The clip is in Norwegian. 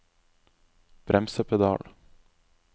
bremsepedal